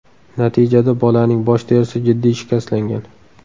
Natijada bolaning bosh terisi jiddiy shikastlangan.